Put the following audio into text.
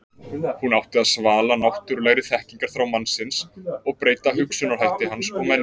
Hún átti að svala náttúrulegri þekkingarþrá mannsins og breyta hugsunarhætti hans og menningu.